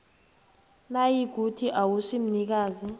nayikuthi awusi mnikazi